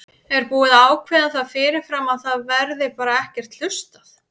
Er búið að ákveða það fyrirfram að það verði bara ekkert hlustað?